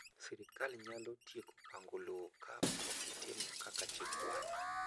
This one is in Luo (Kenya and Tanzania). Sirkal nyalo tieko pango lowo ka okitimo kaka chik dwaro.